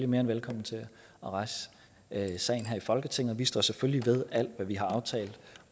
mere end velkomne til at rejse sagen her i folketinget vi står selvfølgelig ved alt hvad vi har aftalt